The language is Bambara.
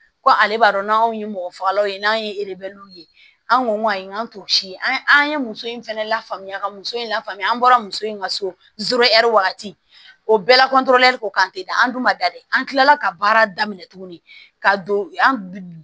Ko ale b'a dɔn n'anw ye mɔgɔ fagalaw ye n'an ye erew ye an ko ayi n k'an to si an ye muso in fɛnɛ lafaamuya ka muso in lafaamuya an bɔra muso in ka so wagati o bɛɛ la ko kan te da an dun ma da dɛ an tilala ka baara daminɛ tuguni ka don an